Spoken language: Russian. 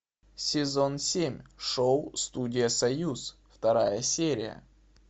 сезон семь шоу студия союз вторая серия